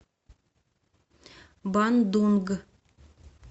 бандунг